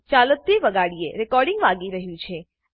ચાલો તે વગાડીએ રેકોર્ડીંગ વાગી રહ્યું છે